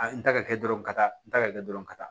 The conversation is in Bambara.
A ye n ta kɛ dɔrɔn ka taa n ta ka kɛ dɔrɔn ka taa